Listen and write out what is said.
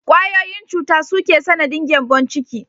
Ƙwayoyin cuta su ke sanadin gyambon ciki